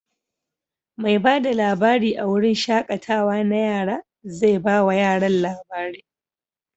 Mai ba da labari a wurin shaƙatawa na yara zai ba wa yaran labari.